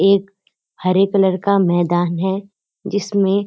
एक हरे कलर का मैदान है जिसमें --